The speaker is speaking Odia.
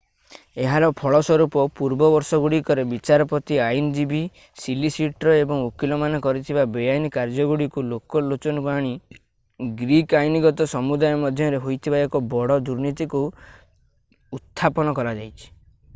ଏହାର ଫଳସ୍ୱରୂପ ପୂର୍ବ ବର୍ଷଗୁଡିକରେ ବିଚାରପତି ଆଇନଜୀବୀ ସଲିସିଟର ଏବଂ ଓକିଲମାନେ କରିଥିବା ବେଆଇନ କାର୍ଯ୍ୟଗୁଡ଼ିକୁ ଲୋକଲୋଚନକୁ ଆଣି ଗ୍ରୀକ୍ ଆଇନଗତ ସମୁଦାୟ ମଧ୍ୟରେ ହୋଇଥିବା ଏକ ବଡ଼ ଦୁର୍ନୀତିକୁ ଉତ୍ଥାପନ କରାଯାଇଛି